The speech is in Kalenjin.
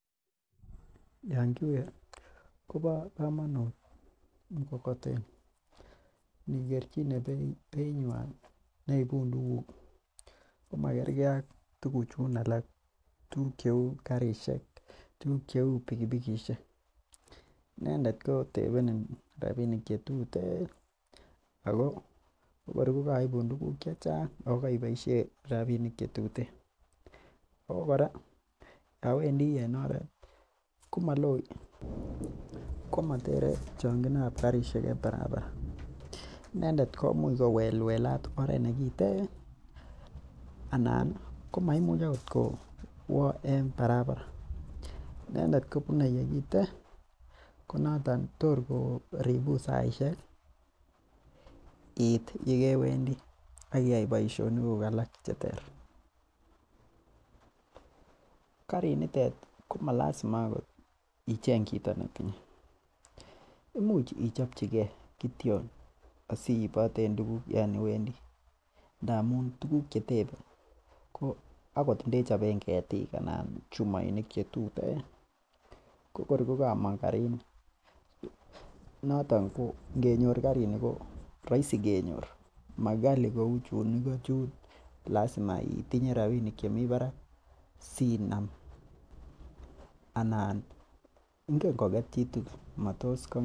Yoon kiue kobo komonuut mkokoteni inikerchine beit nyuan neibuun tuguk komakerge ak tuguchun alak , tuguk cheuu karisiek tuguk cheuu pikipikisiek inendet ko tebenin rabinik chetuten. Ako kor ko kaibun tuguk chechang iboisien rabinik che tuten Ako kora yoon Wendi en oret komatere chongintab karisiek en parapara, inendet komuch kowelwelat oret nekiten, anan komaimuch akot kwo en parapara inendet kobunei ye kiten ko noto tor koribun saisiek ih iit yekewendi akiyaai boisionikug cheter ko malazima akot icheng chito netinye, imuch ichobchikei kityo asiiboten tuguk yoon iwendii ndamuun tuguk chetebei akot indechoben ketik anan chumoinik chetuten ko kor ko kamong karini, mokali kenyor, mauu chuun igo chun yoche itinye rabinik chemi barak sinam anan ingen koket chitugul.